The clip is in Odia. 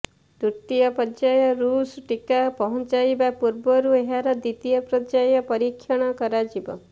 ତୃତୀୟ ପର୍ଯ୍ୟାୟରେ ରୁଷ ଟିକା ପହଞ୍ଚିବା ପୂର୍ବରୁ ଏହାର ଦ୍ବିତୀୟ ପର୍ଯ୍ୟାୟ ପରୀକ୍ଷଣ କରାଯିବ